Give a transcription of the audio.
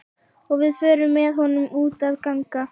Og við förum með honum út að ganga.